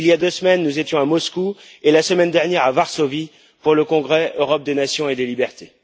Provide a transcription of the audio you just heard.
Il y a deux semaines, nous étions à Moscou et la semaine dernière, à Varsovie, pour le congrès Europe des Nations et des Libertés.